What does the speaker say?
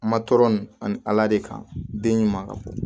Ma tɔɔrɔ nin ani ala de kan den ɲuman